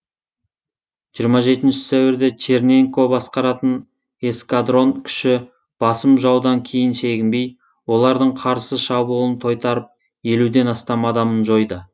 жиырма жетінші сәуірде черненко басқаратын эскадрон күші басым жаудан кейін шегінбей олардың қарсы шабуылын тойтарып елуден астам адамын жойды